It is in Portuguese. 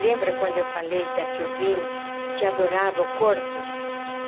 Lembra quando eu falei da que eu vim que adorava o corpo?